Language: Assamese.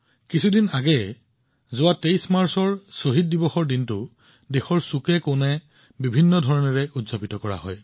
কিছুদিন পূৰ্বে ২৩ মাৰ্চত শ্বহীদ দিৱসত দেশৰ বিভিন্ন কোণত কেইবাটাও অনুষ্ঠান অনুষ্ঠিত হৈছিল